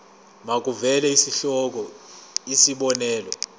makuvele isihloko isib